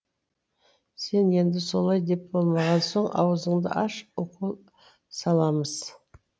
сен енді солай деп болмаған соң ауызыңды аш укол саламыз